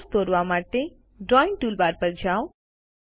Calloutદોરવા માટે drawing toolbar પર જાઓ